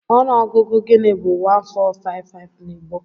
Ọnụọgụ gịnị bú 1455 na Igbo?